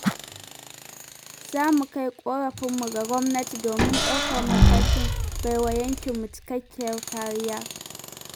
Za mu kai ƙorafinmu ga Gwamnati domin ɗaukar matakin bai wa yankinmu cikakkiyar kariya.